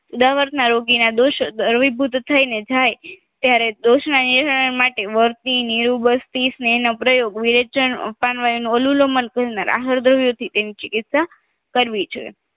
ઉદાવરના રોગીના દોષ દર વિભૂત થઈને થાય દોષના માટે વર્તી નિરુબરતી સ્નેહનો પ્રયોગ વિરેચન પાનવાયો ના રાહરદાવ્યો થી તેની ચીકીત્સા કરવી જોઈએ